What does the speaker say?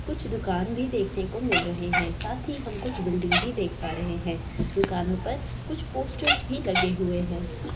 कुछ दुकान भी देखने को मिल रहे हैं साथी हम कुछ बिल्डिंग भी देख पा रहे हैं दुकानों पर कुछ पोस्टर्स भी लगे हुए हैं।